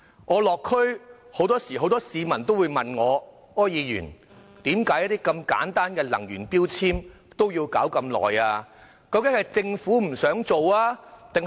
我落區時很多市民問我："柯議員，為何如此簡單的能源標籤政策也要花如此長時間處理？